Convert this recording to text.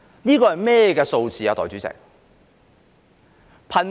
這個是甚麼數字，代理主席？